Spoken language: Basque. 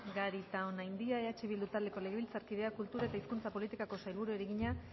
garitaonandia eh bildu taldeko legebiltzarkideak kultura eta hizkuntza politikako sailburuari egina